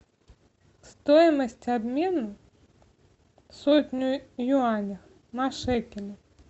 стоимость обмена сотню юаней на шекели